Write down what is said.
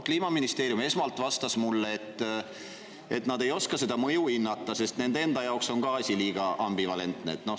Kliimaministeerium vastas mulle esmalt, et nad ei oska seda mõju hinnata, sest ka nende enda jaoks on asi liiga ambivalentne.